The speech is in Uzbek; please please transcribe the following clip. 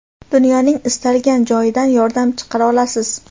dunyoning istalgan joyidan yordam chaqira olasiz.